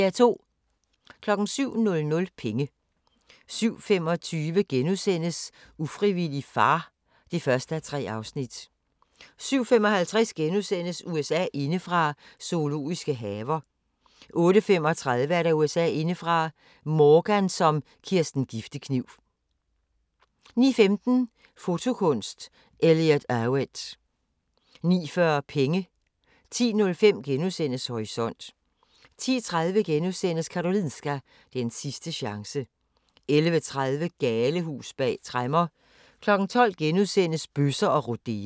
07:00: Penge 07:25: Ufrivillig far (1:3)* 07:55: USA indefra: Zoologiske haver * 08:35: USA indefra: Morgan som Kirsten Giftekniv 09:15: Fotokunst: Elliot Erwitt 09:40: Penge 10:05: Horisont * 10:30: Karolinska – den sidste chance * 11:30: Galehus bag tremmer 12:00: Bøsser og rodeo *